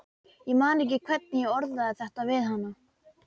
Ég man ekki hvernig ég orðaði þetta við hana.